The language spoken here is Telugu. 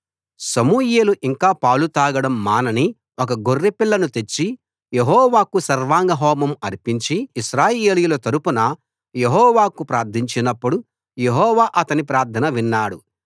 సమూయేలు ఇంకా పాలు తాగడం మానని ఒక గొర్రెపిల్లను తెచ్చి యెహోవాకు సర్వాంగ హోమం అర్పించి ఇశ్రాయేలీయుల తరఫున యెహోవాకు ప్రార్థించినపుడు యెహోవా అతని ప్రార్థన విన్నాడు